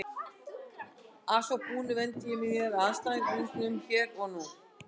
Að svo búnu vendi ég mér að andstæðingunum hér og nú.